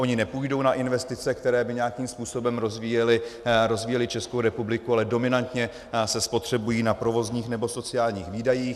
Ony nepůjdou na investice, které by nějakým způsobem rozvíjely Českou republiku, ale dominantně se spotřebují na provozních nebo sociálních výdajích.